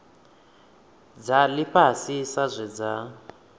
dza ifhasi sa zwe dza